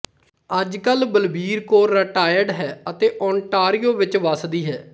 ਅੱਜ ਕਲ ਬਲਬੀਰ ਕੌਰ ਰੀਟਾਇਰਡ ਹੈ ਅਤੇ ਓਂਟਾਰੀਓ ਵਿੱਚ ਵੱਸਦੀ ਹੈ